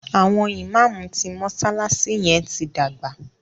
àwọn imam tí mọsalasi yén tí dàgbà.